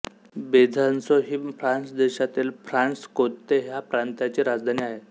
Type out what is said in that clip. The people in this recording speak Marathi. बेझॉंसों ही फ्रान्स देशातील फ्रांशकोंते ह्या प्रांताची राजधानी आहे